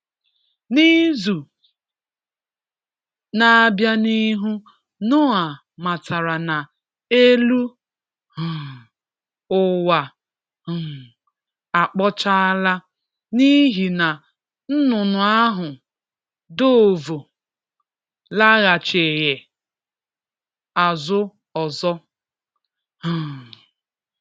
N’izu na-abịa n’ihu, Noa matara na elu um ụwa um akpochala, n’ihi na nnụnụ ahụ — dovu — laghachighị azụ ọzọ. um